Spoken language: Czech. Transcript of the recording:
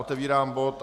Otevírám bod